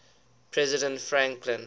president franklin